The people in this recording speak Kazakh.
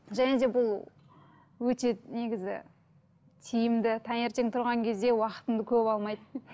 және де бұл өте негізі тиімді таңертең тұрған кезде уақытыңды көп алмайды